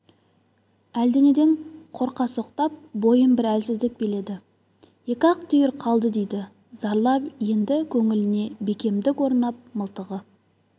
әлденеден қорқасоқтап бойын бір әлсіздік биледі екі-ақ түйір қалды дейді зарлап енді көңіліне бекемдік орнап мылтығы